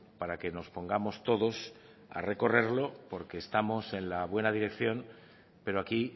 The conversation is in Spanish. para que nos pongamos todos a recorrerlo porque estamos en la buena dirección pero aquí